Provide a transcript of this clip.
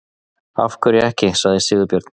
Af hverju ekki? sagði Sigurbjörn.